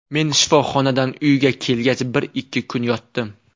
Men shifoxonadan uyga kelgach bir-ikki kun yotdim.